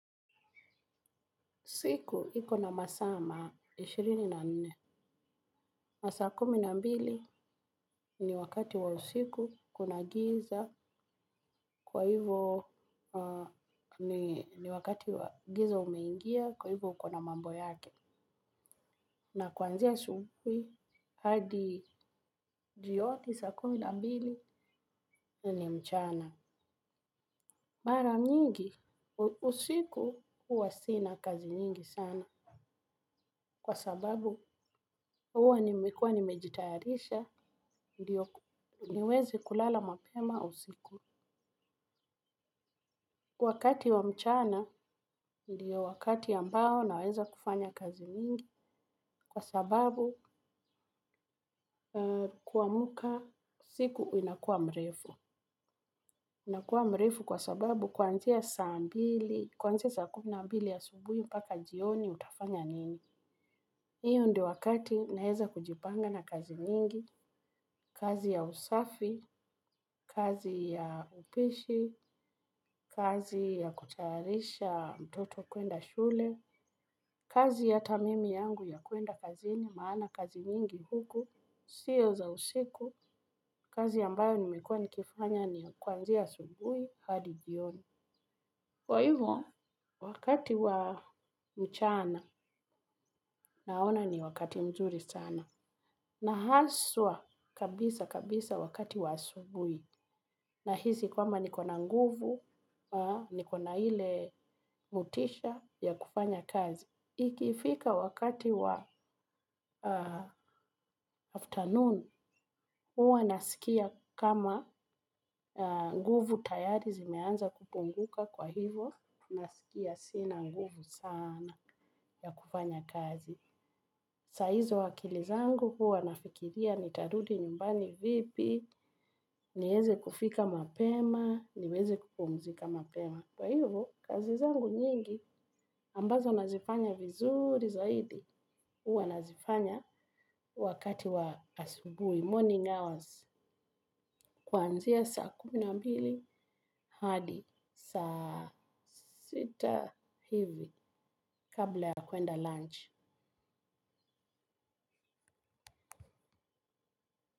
Siku hiko na masaa ishirini na nne, masaa kumi na mbili ni wakati wa usiku kuna giza, kwa hivo ni wakati gize limeingia kwa hivo kuna mambo yake. Na kuanzia asubuhi hadi jioni saa kumi na mbili hiyo ni mchana. Mbara nyingi usiku hua sina kazi nyingi sana kwa sababu hua nimejitayarisha ndio niweze kulala mapema usiku. Wakati wa mchana ndio wakati ambao naweza kufanya kazi nyingi kwa sababu siku inakua mrefu. Inakua mrefu kwa sababu kwanzia saa kumi na mbili asubuhi mpaka jioni utafanya nini. Huo ndio wakati naeza kujipanga na kazi nyingi, kazi ya usafi, kazi ya upishi, kazi ya kutayarisha mtoto kwenda shule, kazi ya hata mimi yangu ya kwenda kazi ni maana kazi nyingi huku, siyo za usiku, kazi yambayo nimekua nikifanya ni kwanzia sungui hadi jioni. Kwa hivyo wakati wa mchana, naona ni wakati mzuri sana na haswa kabisa kabisa wakati wa asubui na hizi kwamba niko na nguvu, ni kona hile motisha ya kufanya kazi. Ikifika wakati wa afternoon, hua nasikia kama nguvu tayari zimeanza kupunguka kwa hivo, nasikia sina nguvu sana ya kufanya kazi. Saizo akili zangu huwa nafikiria nitarudi nyumbani vipi, niweze kufika mapema, niweze kupumzika mapema. Kwa hivyo, kazi zangu nyingi, ambazo nazifanya vizuri zaidi, uwa nazifanya wakati wa asibuhi, morning hours, kwanzia saa kumi na mbili, hadi saa sita hivi, kabla ya kuenda lunch.